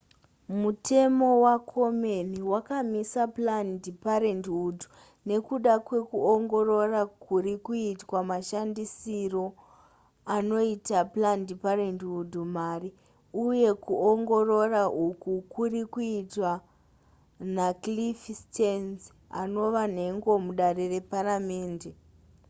mutemo wakomen wakamisa planned parenthood nekuda kwekuongorora kuri kuitwa mashandisiro anoita planned parenthood mari uye kuongorora uku kuri kuitwa nacliff stearns anova nhengo mudare reparamende